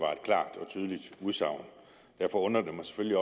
og tydeligt udsagn derfor undrer det mig selvfølgelig